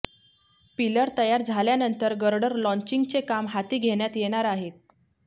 pillar तयार झाल्यानंतर girder लॉंचिंगचे काम हाती घेण्यात येणार आहे